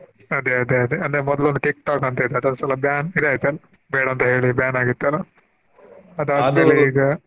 ಅದೇ ಅದೇ ಅದೇ ಅದೇ ಮೊದ್ಲೊಂದು TikTok ಅಂತ ಇತ್ತು ಅದೊಂದ್ಸಲ ban ಮಾಡಿ ಬೇಡಾ ಅಂತ ಹೇಳಿ ban ಆಗಿತ್ತಲಾ .